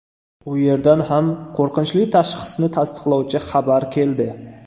U yerdan ham qo‘rqinchli tashxisni tasdiqlovchi xabar keldi.